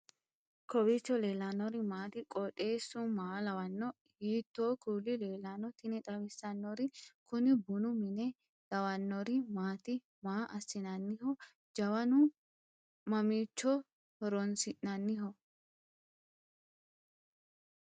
kowiicho leellannori maati ? qooxeessu maa lawaanno ? hiitoo kuuli leellanno ? tini xawissannori kuni bunu mine lawannori maati maa assinanniho jawanu mamiicho horoonsi'nanniho